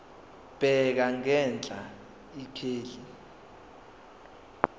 bheka ngenhla ikheli